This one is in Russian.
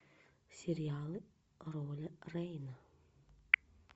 сериал роль рейна